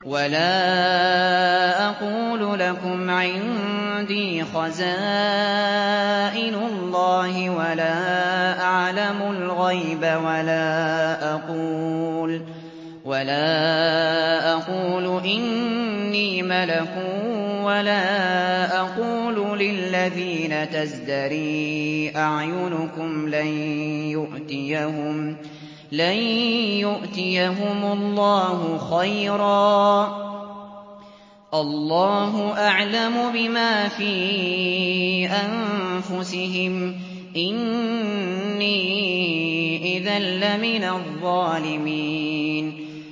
وَلَا أَقُولُ لَكُمْ عِندِي خَزَائِنُ اللَّهِ وَلَا أَعْلَمُ الْغَيْبَ وَلَا أَقُولُ إِنِّي مَلَكٌ وَلَا أَقُولُ لِلَّذِينَ تَزْدَرِي أَعْيُنُكُمْ لَن يُؤْتِيَهُمُ اللَّهُ خَيْرًا ۖ اللَّهُ أَعْلَمُ بِمَا فِي أَنفُسِهِمْ ۖ إِنِّي إِذًا لَّمِنَ الظَّالِمِينَ